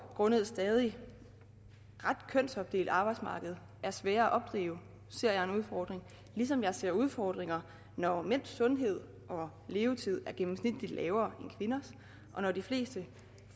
grundet et stadig ret kønsopdelt arbejdsmarked er svære at opdrive ser jeg en udfordring ligesom jeg ser udfordringer når mænds sundhed og levetid er gennemsnitligt lavere end kvinders og når de fleste